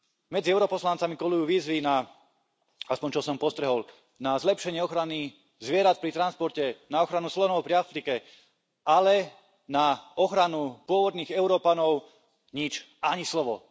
Medzi europoslancami kolujú výzvy na aspoň čo som postrehol na zlepšenie ochrany zvierat pri transporte, na ochranu slonov v Afrike, ale na ochranu pôvodných Európanov nič, ani slovo.